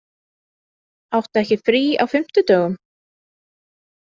Áttu ekki frí á fimmtudögum?